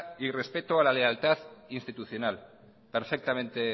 y respeto a la lealtad institucional perfectamente